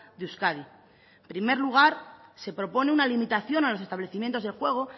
de euskadi en primer lugar se propone una limitación a los establecimientos de juego